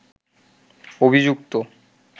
অভিযুক্ত